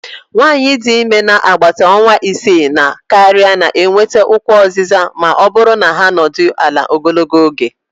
nwanyị dị ime n'agbata ọnwa isii na karịa na-enweta ụkwụ oziza ma ọ bụrụ na ha anọdụ ala ogologo oge